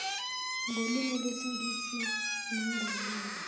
ngolwimi lwesingisi nangolwimi